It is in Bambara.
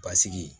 Basigi